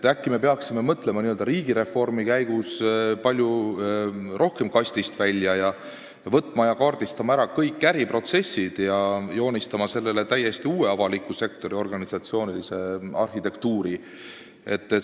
Äkki me peaksime n-ö riigireformi käigus palju rohkem kastist väljas mõtlema, võtma ja kaardistama ära kõik äriprotsessid ning joonistama täiesti uue avaliku sektori organisatsioonilise arhitektuuri?